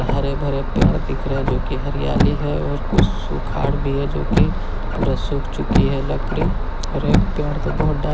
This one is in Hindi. हरे भरे पेड़ दिख रहे है जो की हरियाली है और कुछ सुखार भी है जो कि पूरा सूख चुकी है लकड़ी और एक पेड़ तो बहुत--